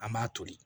An b'a toli